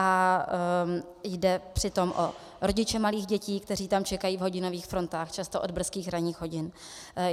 A jde přitom o rodiče malých dětí, kteří tam čekají v hodinových frontách, často od brzkých ranních hodin.